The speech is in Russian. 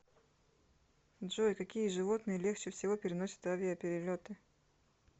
джой какие животные легче всего переносят авиаперелеты